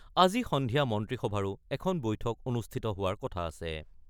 আজি সন্ধিয়া মন্ত্ৰীসভাৰো এখন বৈঠক অনুষ্ঠিত হোৱাৰ কথা আছে।